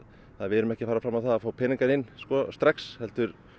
að við erum ekki að fara fram á það að fá peningana inn strax heldur